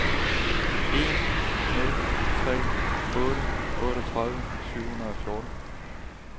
en nul tre otte otteogtredive syv hundrede og fjorten